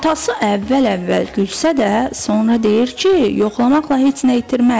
Atası əvvəl-əvvəl gülsə də, sonra deyir ki, yoxlamaqla heç nə itirmərik.